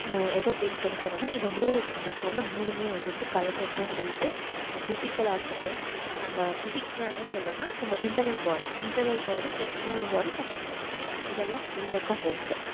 அஹ் எத base பண்ணி சொன்னேனாஇந்த மூணு நான் சொன்ன மூணுமே வந்துட்டு கலந்ததுதான் help அந்த physical ஆஹ் இருக்கட்டும் நம்ம physics என்ன சொல்றேனா நம்ம internalbodyinternalbodyexternalbody அப்புறம் நம்ம mind இதலாம்சேந்தததுதான் health